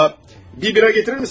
A, bir bira gətirirmisən?